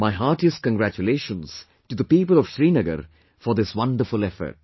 My heartiest congratulations to the people of Srinagar for this wonderful effort